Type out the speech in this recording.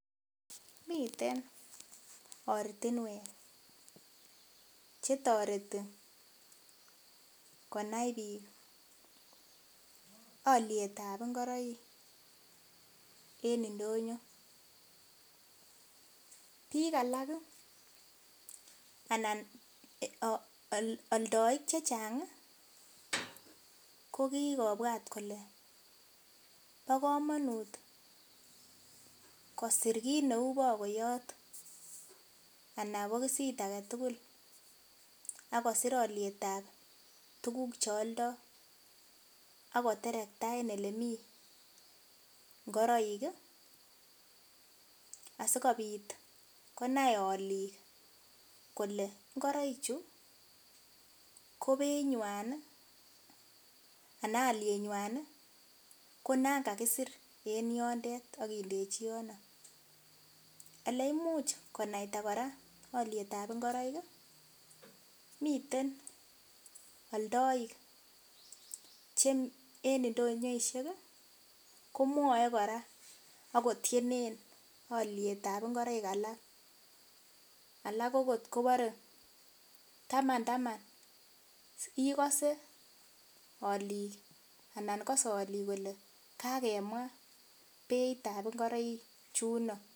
Miten ortinwek chetoreti konai biik alyetab ngoroik en ndonyo, biik alak anan aldoik chechang kokikobwat kole bo komonut kosir kit neu bogoyot anan bokisit agetugul akosir alyetab tuguk chealdoo akoterekta en elemii ngoroik asikobit konai aliik kole ngoroichu ko beinywan ii ana alyenywan ii konangakisir en yondet akindechi yono, eleimuch konaita kora alyetab ngoroik miten aldoik che en ndonyoisiek ii komwoe kora akotyenen alyetab ngoroik alak, alak okot kobore taman taman ikosee alik anan kose olik kole kakemwa beitab ngoroichuno.